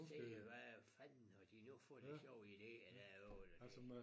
Se hvad fanden har de nu fået af sjove idéer derovre da det